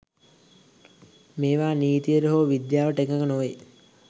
මේවා නිතියට හෝ විද්‍යාවට එකග නොවේ